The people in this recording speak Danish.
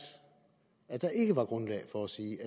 at der ikke er grundlag for at sige